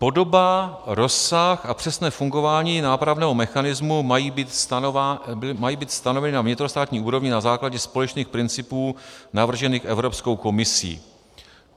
Podoba, rozsah a přesné fungování nápravného mechanismu mají být stanoveny na vnitrostátní úrovni na základě společných principů navržených Evropskou komisí.